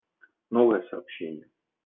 новое сообщение